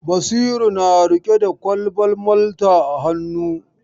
Basiru na riƙe da kwalban Malta a hannu.